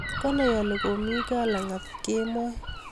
Kwanai ale komi mii gaa lakat kemoi